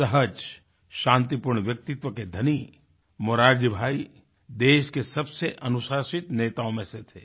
सहज शांतिपूर्ण व्यक्तित्व के धनी मोरारजी भाई देश के सबसे अनुशासित नेताओं में से थे